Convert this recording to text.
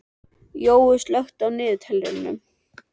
Jói, slökktu á niðurteljaranum.